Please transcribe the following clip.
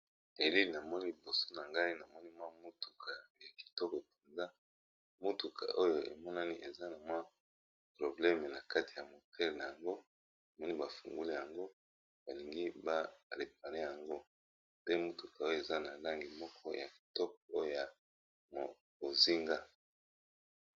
Elili namoni liboso na ngai namoni mwa motuka ya kitoko mpenza, motuka oyo emonani eza na mwa probleme na kati ya moteur nango namoni ba fongoli yango balingi ba réparé yango pe motuka oyo eza na langi moko ya kitoko oya bozinga.